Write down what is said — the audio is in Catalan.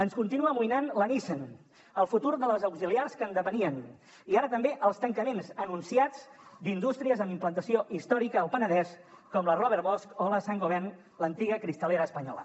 ens continua amoïnant la nissan el futur de les auxiliars que en depenien i ara també els tancaments anunciats d’indústries amb implantació històrica al penedès com la robert bosch o la saint gobain l’antiga cristalería española